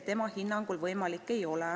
Tema hinnangul see võimalik ei ole.